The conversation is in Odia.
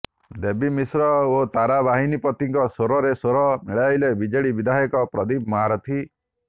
ଦେବୀ ମିଶ୍ର ଓ ତାରା ବାହିନୀପତିଙ୍କ ସ୍ୱରରେ ସ୍ୱର ମିଳାଇଲେ ବିଜେଡି ବିଧାୟକ ପ୍ରଦୀପ ମହାରଥୀ